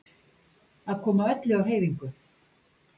Að koma öllu á hreyfingu.